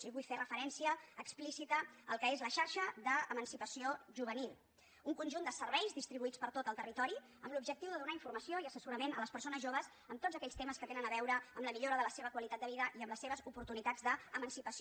i vull fer referència explícita al que és la xarxa d’emancipació juvenil un conjunt de serveis distribuïts per tot el territori amb l’objectiu de donar informació i assessorament a les persones joves en tots aquells temes que tenen a veure amb la millora de la seva qualitat de vida i amb les seves oportunitats d’emancipació